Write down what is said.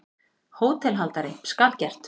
HÓTELHALDARI: Skal gert.